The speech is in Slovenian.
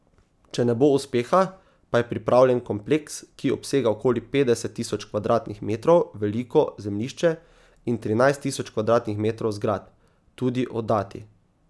Če ne bo uspeha, pa je pripravljen kompleks, ki obsega okoli petdeset tisoč kvadratnih metrov veliko zemljišče in trinajst tisoč kvadratnih metrov zgradb, tudi oddati.